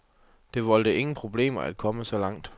Det voldte ingen problemer at komme så langt.